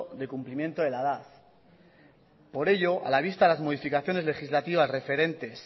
del cumplimiento de la edad por ello a la vista de las modificaciones legislativas referentes